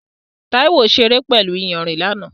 Taiwo ṣeré pẹ̀lú iyanrìn lánàá.